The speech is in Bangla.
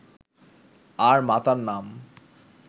আর মাতার নাম